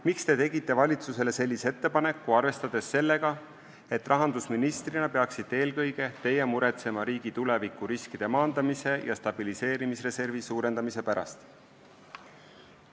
Miks te tegite valitsusele sellise ettepaneku, arvestades sellega, et rahandusministrina peaksite eelkõige teie muretsema riigi tuleviku riskide maandamise ja stabiliseerimisreservi suurendamise pärast?